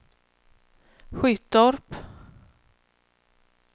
Skyttorp